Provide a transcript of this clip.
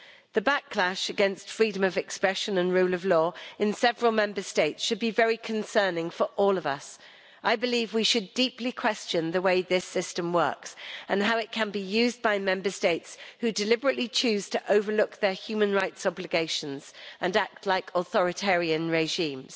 The backlash against freedom of expression and rule of law in several Member States should be very concerning for all of us. I believe we should deeply question the way this system works and how it can be used by Member States that deliberately choose to overlook their human rights obligations and act like authoritarian regimes.